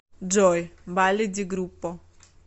джой балли ди группо